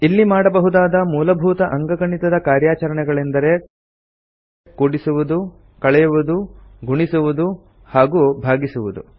ಇಲ್ಲಿ ಮಾಡಬಹುದಾದ ಮೂಲಭೂತ ಅಂಕಗಣಿತದ ಕಾರ್ಯಾಚರಣೆಗಳೆoದರೆ ಕೂಡಿಸುವುದು ಕಳೆಯುವುದು ಗುಣಿಸುವುದು ಹಾಗೂ ಭಾಗಿಸುವುದು